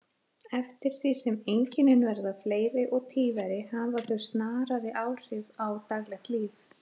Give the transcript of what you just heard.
Eftir því sem einkennin verða fleiri og tíðari hafa þau snarari áhrif á daglegt líf.